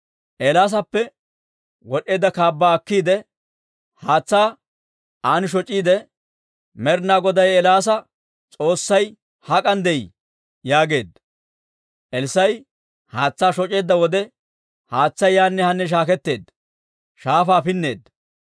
Eelaasappe wod'd'eedda kaabbaa akkiide, haatsaa an shoc'iide, «Med'ina Goday Eelaasa S'oossay hak'an de'ii?» yaageedda. Elssaa'i haatsaa shoc'eedda wode, haatsay yaanne haanne shaaketteedda; shaafaa pinneedda.